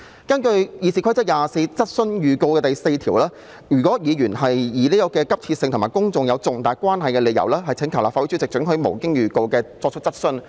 根據《議事規則》第24條質詢預告第4款，如議員以事項性質急切及與公眾有重大關係為理由，可請求立法會主席准許無經預告而提出質詢。